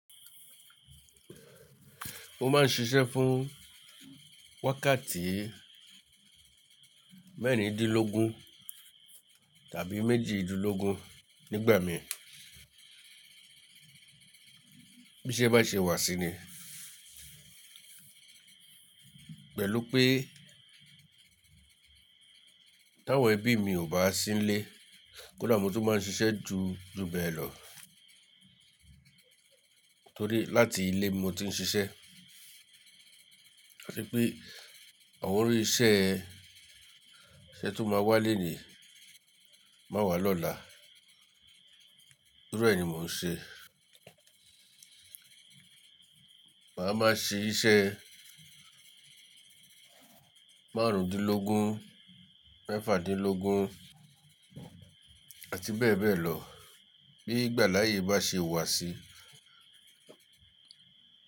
Mo máa ń ṣiṣẹ́ fún wákàtí mẹ́rìndínlógún tàbí méjìdínlógún nígbà mi bí iṣẹ́ bá ṣe wà sí ni. Pẹ̀lú pé táwọn ẹbí mi ò bá sí lẹ́, kódà mo tún máa ń ṣiṣẹ́ ju bẹ́ẹ̀ lọ torí láti ilé mo ti ń ṣiṣẹ́. Torí pé àwọn orí isẹ́ ṣe tó máa wá léni má wá lọ́la, gbogbo rẹ̀ ni mò ń ṣe. Màá má ṣe iṣẹ́ márùndínlógún mẹ́fàdínlógún àti bẹ́ẹ̀ bẹ́ẹ̀ lọ bí ìgbà láàyè bá ṣe wà sí.